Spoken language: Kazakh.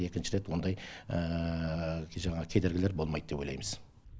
екінші рет ондай жаңағы кедергілер болмайды деп ойлаймыз